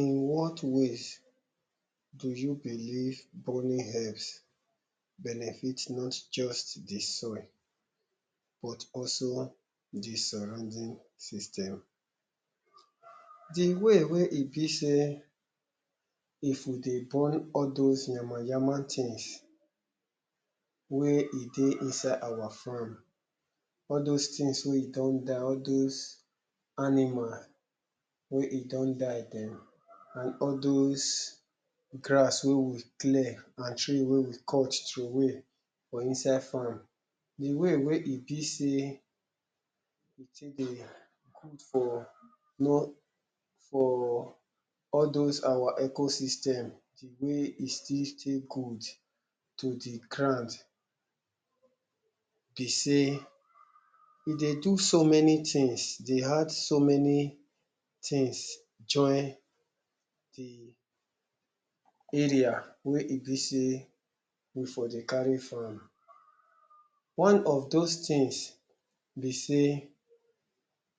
in what wayz do you believe burning helps benefit not just the soil but also the sorrounding system the way wey e be sey if you dey burn all those yama-yama things wey e dey inside our farm all those things wey e don die, all those animal wey e don die dem and all those grass wey we clear and tree wey we cut trowey for inside farm the way wey e be sey dey good for no for all those our ecosystem, the wey e still dey good to the ground be sey e dey do so many things, dey add so many things join the area wey e be sey we for dey carry farm one of those things be sey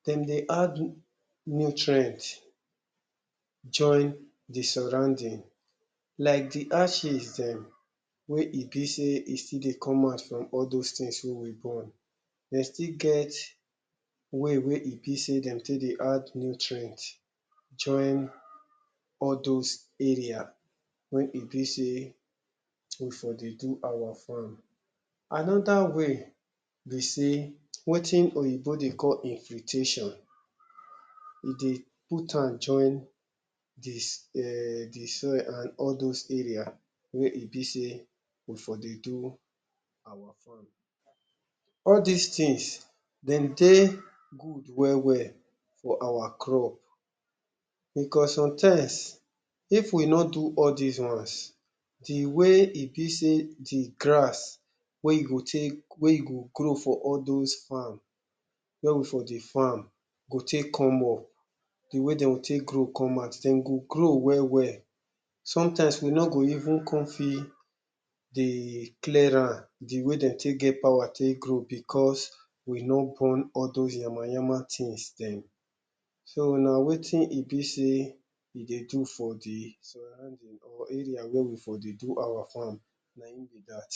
dem dey add nutrient join the sorrounding like the ashes dem wey e be sey e still dey come out from all those things wey we burn dem still get way wey e be sey dem take dey add nutrient join all those area wey e be sey we for dey do our farm another way be sey wetin oyibo dey call infiltration e dey putam join the um the soil and all those area wey e be sey we for dey do our all dis things dem dey good well-well for our crops because sometimes if we no do all dis ones the way e be sey the grass wey e go take wey e go grow for all those farm wey we for dey farm go take come up the way dem go take grow come out dem go grow well-well sometimes we no go even come fit dey clear am the way de take get power take grow because we no burn all those yama-yama things dem so na wetin e be sey e dey do for the sorrounding or area wey we for dey do our farm nayin be dat